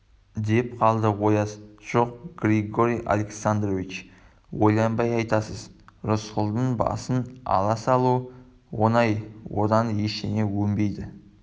деп қалды ояз жоқ георгий александрович ойланбай айтасыз рысқұлдың басын ала салу оңай одан ештеңе өнбейді